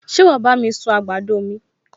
Ṣé wàá bá mi sun àgbàdo mi?